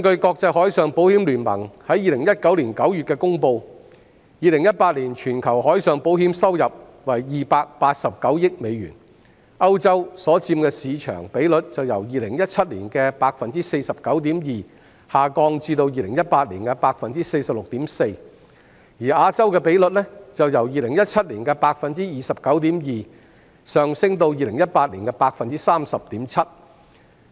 國際海上保險聯盟在2019年9月公布 ，2018 年全球海上保險收入為289億美元，歐洲所佔的市場比率由2017年的 49.2% 下降至2018年的 46.4%， 而亞洲的比率由2017年的 29.2%， 上升至2018年的 30.7%。